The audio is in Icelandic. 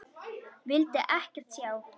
Vildi ekkert sjá.